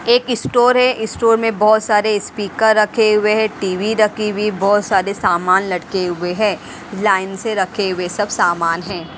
एक स्टोर है स्टोर में बहुत सारे स्पीकर रखे हुए हैं टी_वी रखी हुई बहुत सारे सामान लटके हुए हैं लाइन से रखे हुए सब सामान हैं।